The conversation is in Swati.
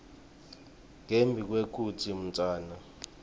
ngembi kwekutsi umntfwana